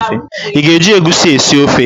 Ị ga-eji egusi esi ofe?